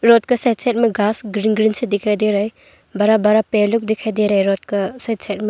Road के side side में घास ग्रीन ग्रीन से दिखाई दे रहे हैं बड़ा बड़ा पेड़लोग दिखाई दे रहे हैं रोड का साइड साइड में।